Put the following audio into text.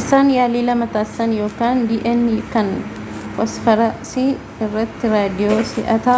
isaan yaalii lama taasisan yookaan dna kan fosfaarasii irratti raadiyoo si'aata